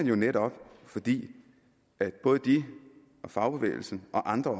jo netop fordi både de og fagbevægelsen og andre